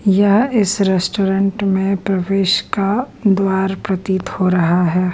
यह इस रेस्टोरेंट में प्रवेश का द्वार प्रतीत हो रहा है।